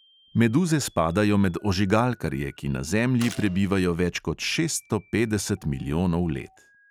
Meduze spadajo med ožigalkarje, ki na zemlji prebivajo več kot šeststo petdeset milijonov let.